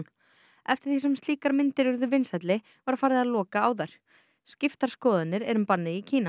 eftir því sem slíkar myndir urðu vinsælli var farið að loka á þær skiptar skoðanir eru um bannið í Kína